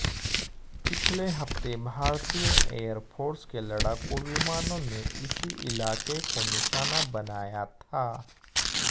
पिछले हफ्ते भारतीय एयरफोर्स के लड़ाकू विमानों ने इसी इलाके को निशाना बनाया था